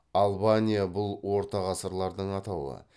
албания бұл орта ғасырлардың атауы